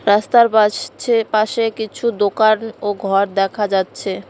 রাস্তার পাশছে পাশে কিছু দোকান ও ঘর দেখা যাচ্ছে।